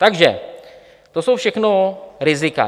Takže to jsou všechno rizika.